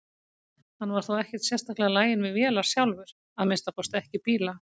Hann var þó ekkert sérstaklega laginn við vélar sjálfur, að minnsta kosti ekki bíla.